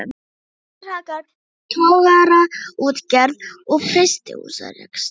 Á meðan hrakaði togaraútgerð og frystihúsarekstri.